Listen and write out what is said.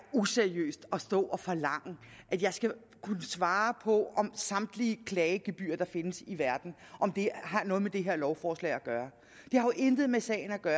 useriøst at stå og forlange at jeg skal kunne svare på om samtlige klagegebyrer der findes i verden det har noget med det her lovforslag at gøre det har jo intet med sagen at gøre